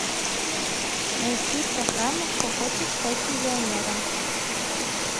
найти программу кто хочет стать миллионером